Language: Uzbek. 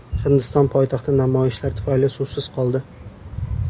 Hindiston poytaxti namoyishlar tufayli suvsiz qoldi .